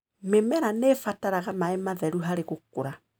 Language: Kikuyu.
Mĩmera nĩibataraga maĩ matheru harĩ gũkũra.